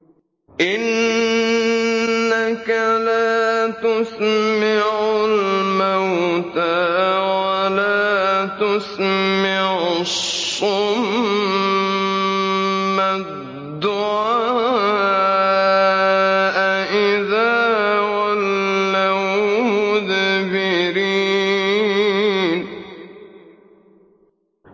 إِنَّكَ لَا تُسْمِعُ الْمَوْتَىٰ وَلَا تُسْمِعُ الصُّمَّ الدُّعَاءَ إِذَا وَلَّوْا مُدْبِرِينَ